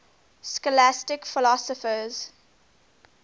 scholastic philosophers